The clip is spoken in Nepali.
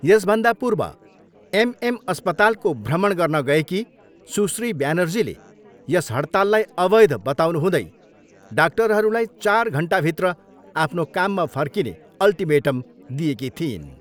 यसभन्दा पूर्व एम एम अस्पतालको भ्रमण गर्न गएकी सुश्री ब्यानर्जीले यस हडताललाई अवैध बताउनुहुँदै डाक्टरहरूलाई चार घन्टाभित्र आफ्नो काममा फर्किने अल्टिमेटम दिएकी थिइन्।